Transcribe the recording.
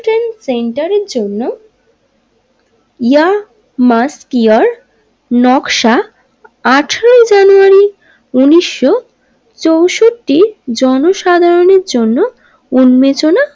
Trade সেন্টারের জন্য ইয়ামারটিওর নকশা আঠারোই জানুয়ারি উনিশশো চৌষট্টি জনসাধারণের জন্য উন্মেচনা।